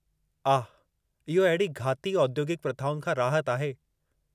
आह! इहो अहिड़ी घाती औद्योगिकु प्रथाउनि खां राहत आहे।